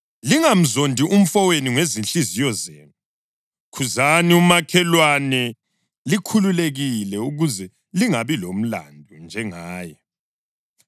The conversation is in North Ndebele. Lingamzondi umfowenu ngezinhliziyo zenu. Khuzani umakhelwane likhululekile ukuze lingabi lomlandu njengaye.